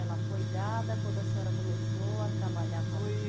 Ela foi dada quando a senhora começou a trabalhar? Foi